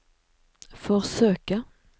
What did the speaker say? forsøke